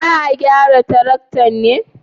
Za a gyara taraktan ne?